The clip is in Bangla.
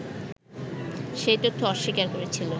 সেই তথ্য অস্বীকার করেছিল